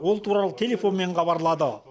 ол туралы телефонмен хабарлады